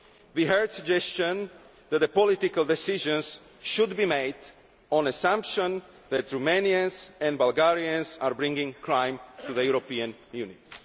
crime. We heard suggestions that political decisions should be made on the assumption that Romanians and Bulgarians are bringing crime to the European